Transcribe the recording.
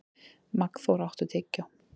Magnþór, áttu tyggjó?